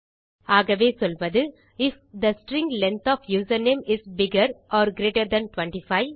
ஆகவே சொல்வது if the string length of username is bigger or greater than 25